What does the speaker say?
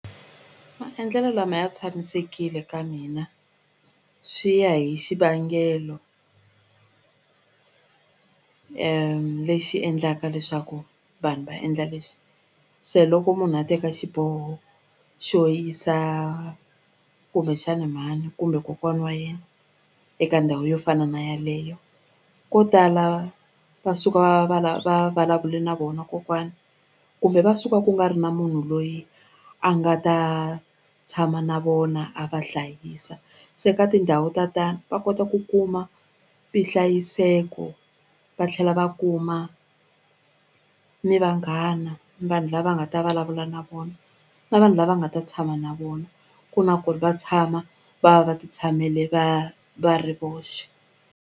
Maendlelo lama ya tshamisekile ka mina swi ya hi xivangelo lexi endlaka leswaku vanhu va endla leswi se loko munhu a teka xiboho xo yisa kumbexani mhani kumbe kokwani wa yena eka ndhawu yo fana na yaleyo ko tala va suka va va vulavule na vona kokwani kumbe va suka ku nga ri na munhu loyi a nga ta tshama na vona a va hlayisa se ka tindhawu ta tani va kota ku kuma vuhlayiseko va tlhela va kuma ni vanghana ni vanhu lava nga ta vulavula na vona na vanhu lava nga ta tshama na vona ku na ku ri va tshama va va ti tshamele va va ri voxe.